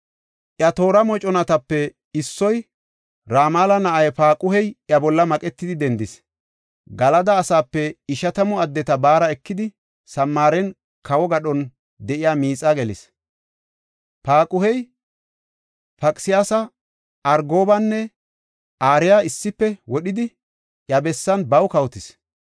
Iya toora moconatape issoy, Ramala na7ay Paaquhey iya bolla maqetidi dendis. Galada asaape ishatamu addeta baara ekidi, Samaaren kawo gadhon de7iya miixaa gelis. Paaquhey, Paqsiyaasa, Argobanne Ariya issife wodhidi iya bessan baw kawotis.